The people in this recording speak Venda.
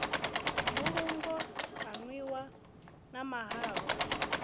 mbulungo ha nwiwa na mahalwa